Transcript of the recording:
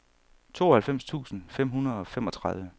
tooghalvfems tusind fem hundrede og femogtredive